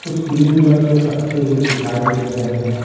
कुछ green colour के पत्ते भी दिखाई दे रहे हैं।